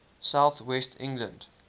south west england